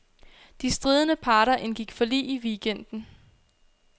De stridende parter indgik forlig i weekenden.